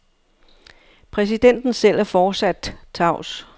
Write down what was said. Præsidenten selv er fortsat tavs.